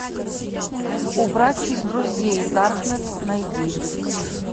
убрать из друзей даркнет найди